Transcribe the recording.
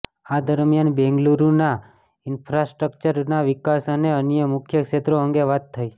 આ દરમ્યાન બેંગલુરૂના ઇન્ફ્રાસ્ટ્રકચરના વિકાસ અને અન્ય મુખ્ય ક્ષેત્રો અંગે વાત થઇ